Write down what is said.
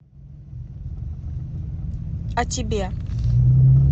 а тебе